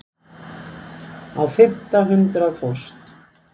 Á fimmta hundrað fórst